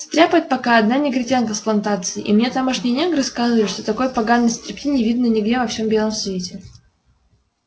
стряпает пока одна негритянка с плантации и мне тамошние негры сказывали что такой поганой стряпни не видано нигде во всем белом свете